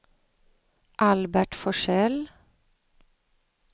Albert Forsell